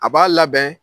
A b'a labɛn